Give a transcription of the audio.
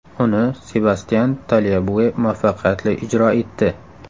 Uni Sebastyan Talyabue muvaffaqiyatli ijro etdi.